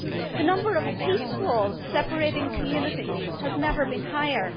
The number of peace walls' separating communities has never been higher.